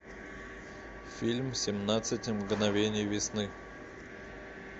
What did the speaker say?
фильм семнадцать мгновений весны